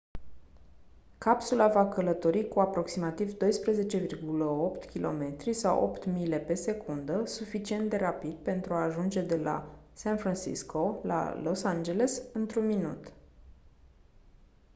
capsula va călători cu aproximativ 12,8 km sau 8 mile pe secundă suficient de rapid pentru a ajunge de la san francisco la los angeles într-un minut